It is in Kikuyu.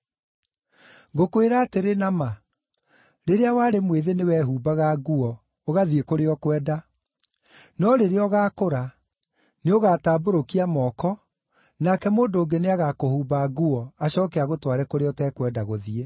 “Ngũkwĩra atĩrĩ na ma, rĩrĩa warĩ mwĩthĩ nĩwehumbaga nguo, ũgathiĩ kũrĩa ũkwenda; no rĩrĩa ũgaakũra, nĩũgatambũrũkia moko, nake mũndũ ũngĩ nĩagakũhumba nguo, acooke agũtware kũrĩa ũtekwenda gũthiĩ.”